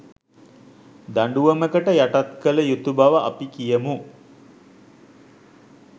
දඬුවමකට යටත් කළ යුතු බව අපි කියමු